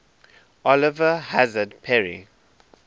oliver hazard perry